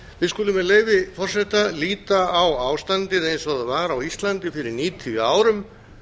við skulum með leyfi forseta líta á ástandið eins og það var á íslandi fyrir níutíu árum